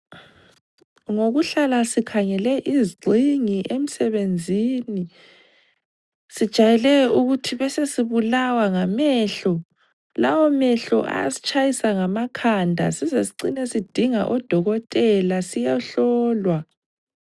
Ngokuhlala sikhangele izigxingi emsebenzini, sijayele ukuthi besesibulawa ngamehlo, lawo mehlo ayasitshayisa ngamakhanda size sicine sidinga odokotela siyehlolwa.